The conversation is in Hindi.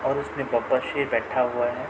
और उसमें बब्बर शेर बैठा हुआ है।